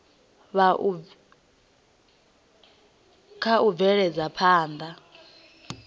kha u bvela phanda na